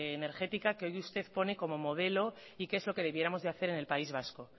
energética que hoy usted pone como modelo y que es lo que debiéramos de hacer en el país vasco